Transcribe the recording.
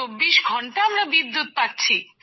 ২৪ ঘন্টা আমরা বিদ্যুৎ পাচ্ছি